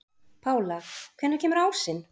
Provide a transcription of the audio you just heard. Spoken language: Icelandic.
Pála, hvenær kemur ásinn?